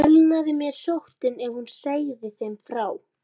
Elnaði mér sóttin, ef hún segði þeim frá henni?